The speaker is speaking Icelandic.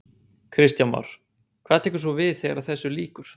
Kristján Már: Hvað tekur svo við þegar þessu lýkur?